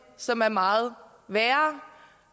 som er meget værre